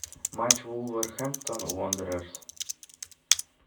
матч вулверхэмптон уондерерс